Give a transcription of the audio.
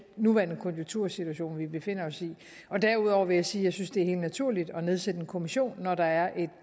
nuværende konjunktursituation vi befinder os i derudover vil jeg sige at jeg synes det er helt naturligt at nedsætte en kommission når der er